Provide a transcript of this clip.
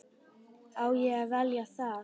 Á ég að velja það?